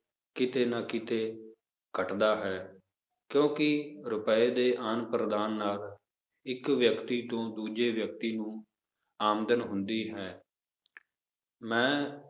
ਕਿਤੇ ਨਾ ਕਿਤੇ ਘੱਟਦਾ ਹੈ ਕਿਉਂਕਿ ਰੁਪਏ ਦੇ ਆਦਾਨ ਪ੍ਰਦਾਨ ਨਾਲ ਇੱਕ ਵਿਅਕਤੀ ਤੋਂ ਦੂਜੇ ਵਿਅਕਤੀ ਨੂੰ ਆਮਦਨ ਹੁੰਦੀ ਹੈ ਮੈਂ